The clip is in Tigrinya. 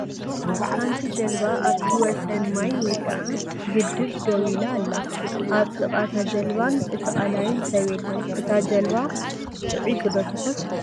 ሓንቲ ጀልባ ኣብቲ ወሰን ማይ ወይ ከዓ ግድብ ደው ኢላ ኣላ፡፡ ኣብ ጥቃ እታ ጀልባን እቲ ቃላይን ሰብ የለን፡፡ እታ ጀልባ ጥዒቲ ዶ ትኾን?